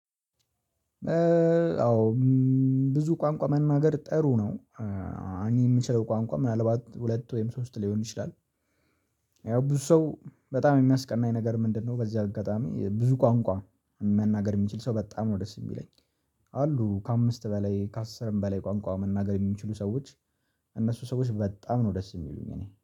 አዎ ብዙ ቋንቋ መናገር ጥሩ ነው እኔ የምችለው ቋንቋ ምናልባት ሁለት ወይም ሶስት ሊሆን ይችላል። ያው ብዙ ሰው በጣም የሚያስቀናኝ ነገር ምንድነው? በዚህ አጋጣሚ ብዙ ቋንቋ መናገር የሚችል ሰው በጣም ነው ደስ የሚለኝ። አሉ ከአምስት በላይ ከአስርም በላይ ቋንቋ መናገር የሚችሉ ሰዎች። እነሱ ሰዎች በጣም ነው ደስ የሚሉኝ። እኔ